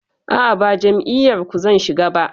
A'a, ba jam'iyar ku zan shiga ba.